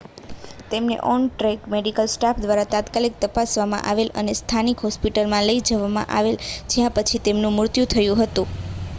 તેમને on track medical staff દ્વારા તાત્કાલિક તપાસવામાં આવેલ અને સ્થાનિક હોસ્પિટલમાં લઈ જવામાં આવેલ જ્યાં પછી તેમનું મૃત્યુ થયું હતું